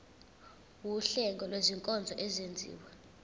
wuhlengo lwezinkonzo ezenziwa